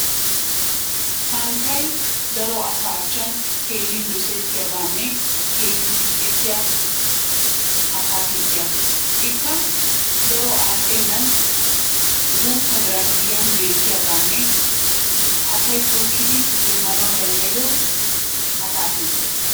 santtay daro asaa achchan keehin dosettiyaaganne keehin siiqettiyaa atakilttiyaa. Ikka daro al"enan gutta biiran giyaan beetiyaaganne asay tookkidi demmanawu danddayiyoo atakilttiyaa.